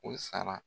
O sara